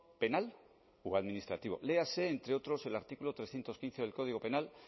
penal o administrativo léase entre otros el artículo trescientos quince del código penal